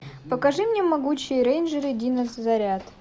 покажи мне могучие рейнджеры дино заряд